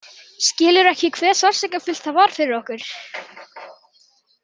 Skilur ekki hve sársaukafullt það var fyrir okkur.